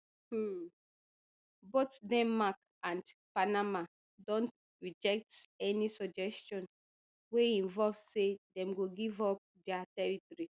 um both denmark and panama don reject any suggestion wey involve say dem go give up dia territory